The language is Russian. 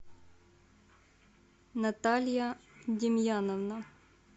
наталья демьяновна